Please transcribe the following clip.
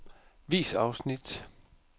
Vis afsnit.